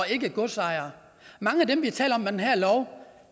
ikke godsejere mange af dem vi taler om